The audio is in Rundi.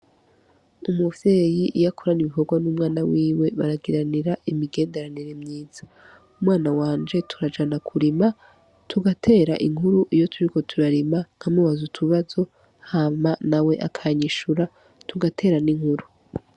Umuvyeyi iyo akorana ibikorwa n'umwana wiwe, baragiranira imigenderanire myiza. Umwana wanje turajana kurima, tugatera inkuru iyo turiko turarima, nkamubaza utubazo hama nawe akanyishura, tugatera n'inkuru.